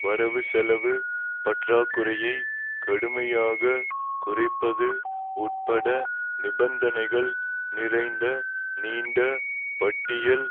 வரவுசெலவு பற்றாக்குறையை கடுமையாக குறைப்பது உட்பட நிபந்தனைகள் நிறைந்த நீண்ட பட்டியல்